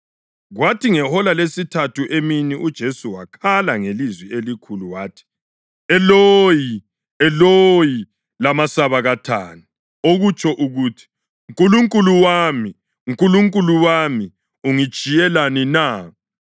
Kwathi ngehola lesithathu emini uJesu wakhala ngelizwi elikhulu wathi, \+wj “Eloyi, Eloyi, lamasabakithani?”\+wj* + 15.34 AmaHubo 22.1 (okutsho ukuthi, “Nkulunkulu wami, Nkulunkulu wami, ungitshiyelani na?”).